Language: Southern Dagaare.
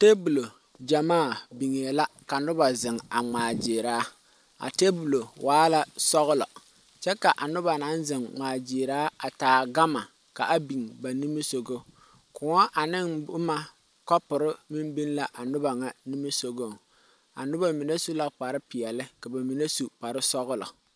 Tebulo gyamaa biŋee la ka noba ŋmaa gyili a tebulo waa la sɔglɔ kyɛ ka a noba naŋ zeŋ ŋmaa gyiiri a taa gama ka a biŋ ba nimisɔgɔ kõɔ ane boma kopɔre meŋ biŋ la a noba ŋa nimisɔgɔŋ a noba mine su la kpare peɛle ka ba mine su kpare sɔglɔ.